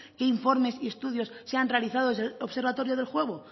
qué informes y estudios se han realizado desde el observatorio del juego